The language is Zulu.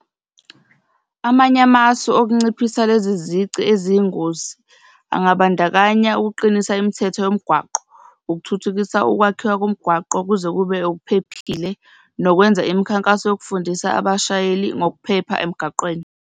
Amanye amasu okunciphisa lezi zici eziyingozi angabandakanya ukuqinisa imithetho yomgwaqo, ukuthuthukisa ukwakhiwa komgwaqo kuze kube okuphephile nokwenza imikhankaso yokufundisa abashayeli ngokuphepha emgaqweni.